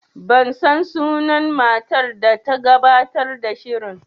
Ban san sunan matar da ta gabatar da shirin